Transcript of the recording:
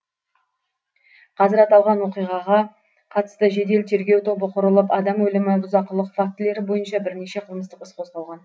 қазір аталған оқиғаға қатысты жедел тергеу тобы құрылып адам өлімі бұзақылық фактілері бойынша бірнеше қылмыстық іс қозғалған